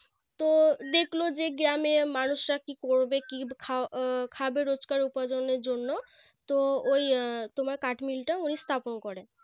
তো দেখলো যে গ্রামে মানুষরা কি করবে কি খাও খাবে রোজকার উপার্জনের জন্য তো ওই তোমার কাঠমিলটা ওই স্থাপন করে